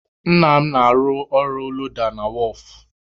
Nna m na-arụ ọrụ loda na wọọfụ.